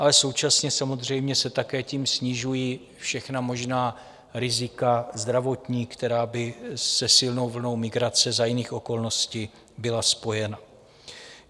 Ale současně samozřejmě se také tím snižují všechna možná rizika zdravotní, která by se silnou vlnou migrace za jiných okolností byla spojena.